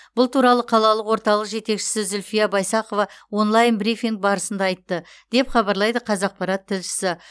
бұл туралы қалалық орталық жетекшісі зүлфия байсақова онлайн брифинг барысында айтты деп хабарлайды қазақпарат тілшісі